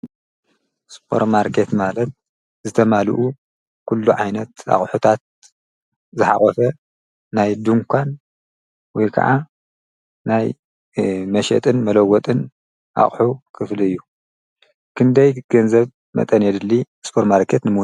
ስፖር ማርኬት ማለት ዝተማላኡ ኩሉ ዓይነት አቑሑታት ዝሓቆፈ ናይ ደንዃን ወይ ከዓ ናይ መሽጥን መለወጥን አቑሑ ክፍሊ እዩ። ክንደይ መጠን ገንዘብ የደሊ ስፓርት ማርኬት ንምውናን?